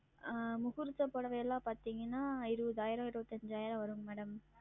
ஆஹ் முகூர்த்த புடவை எல்லாம் பாத்தீர்கன்னா இருபதாயிரம் இருபத்தஞ்சாயிரம் வரும் Madam